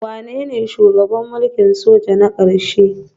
Wanene shugaban mulkin soja na ƙarshe?